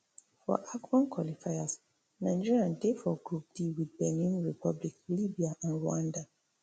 for afcon qualifiers nigeria dey for group d wit benin republic libya and rwanda